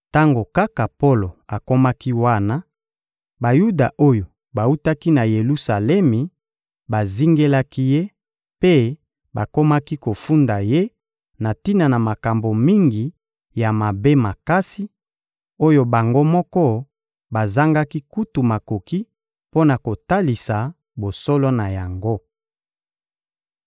Tango kaka Polo akomaki wana, Bayuda oyo bawutaki na Yelusalemi bazingelaki ye mpe bakomaki kofunda ye na tina na makambo mingi ya mabe makasi, oyo bango moko bazangaki kutu makoki mpo na kotalisa bosolo na yango.